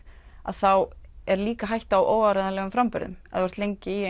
þá er líka hætta á óáreiðanlegum framburðum ef þú ert lengi í